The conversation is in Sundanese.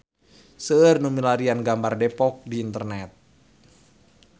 Seueur nu milarian gambar Depok di internet